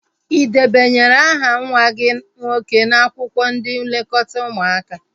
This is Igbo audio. Ị debanyere aha nwa gị nwoke n'akwụkwọ ndị nlekọta ụmụaka?